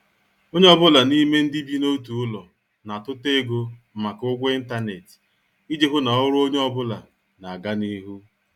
Onye ọ bụla n'ime ndị bi n' otu ụlọ na- atuta ego maka ụgwọ intanet iji hụ na ọrụ onye ọ bụla n' aga n' ihu.